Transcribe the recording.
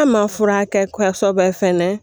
An ma furakɛ kɔsɔbɛ fana